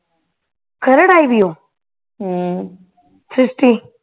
ਖਰੜ੍ਹ ਆਈ ਹੋਈ ਏ ਓ